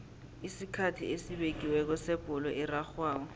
isikhathi esibekiweko sebholo erarhwako